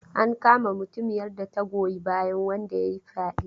An kama mutumiyar da ta goyi bayan wanda ya yi fyaɗe.